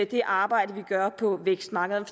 det arbejde vi gør på vækstmarkederne